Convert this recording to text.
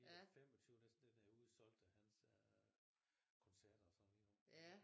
Hele 25 den er udsolgt af hans koncerter øh og sådan lige nu